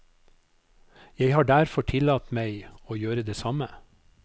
Jeg har derfor tillatt meg å gjøre det samme.